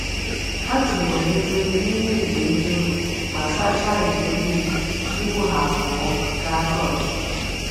Ha tinyere efere n’ime igwe efere ma sachaa ite mmiri tupu ha apụọ gaa chọọchị.